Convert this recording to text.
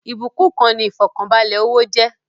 Ìbúkún kan ni ifọkanbalẹ owó jẹ́